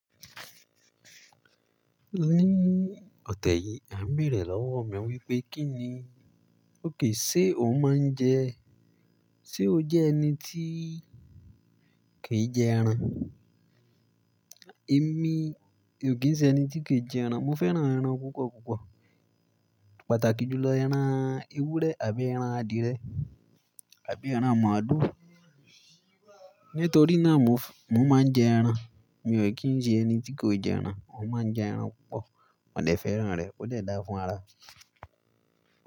Ní ọ̀tẹ́ yìí, à ń bèrè lọ́wọ́ mi wípé kí ni okay sé o máa ń jẹ, sé o jẹ́ ẹni tí kìí jẹ ẹran? Èmi ò kí ń ṣe ẹni tí kìí jẹ ẹran, mo fẹ́ràn ẹran púpọ̀ púpọ̀. Pàtàkì jùlọ ẹran ewúrẹ́ àbí ẹran adìẹ àbí ẹran màálu. Nítorí náà mo f-- mo máa ń jẹ ẹran. Mi ò kí ń ṣe ẹni tí kòí jẹ ẹran, mo máa ń jẹ ẹran púpọ̀, mo dè fẹ́ràn rẹ̀, ó dẹ́ dá fún ara.